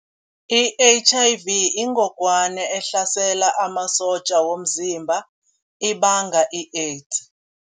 I-H_I_V yingogwana ehlasela amasotja womzimba ibanga i-AIDS.